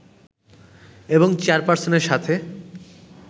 এবং চেয়ারপার্সনের সাথে